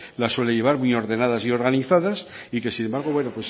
las suele llevar muy ordenadas y organizadas y sin embargo